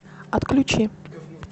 отключи